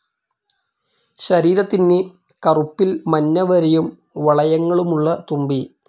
ശരീരത്തിന് കറുപ്പിൽ മഞ്ഞ വരയും വളയങ്ങളുമുള്ള തുമ്പി.